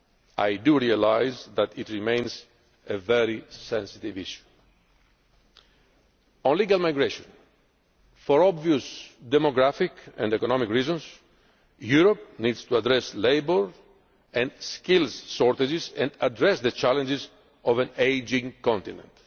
yesterday. I do realise that it remains a very sensitive issue. On legal migration for obvious demographic and economic reasons, Europe needs to address labour and skill shortages and address the challenges of an ageing